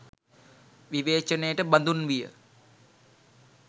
විවේචනයට බඳුන් විය.